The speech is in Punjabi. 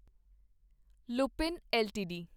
ਲੂਪਿਨ ਐੱਲਟੀਡੀ